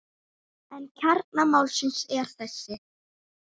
En kjarni málsins er þessi.